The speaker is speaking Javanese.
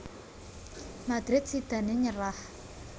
Madrid sidané nyerah